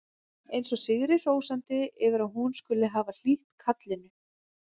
Eins og sigri hrósandi yfir að hún skuli hafa hlýtt kallinu.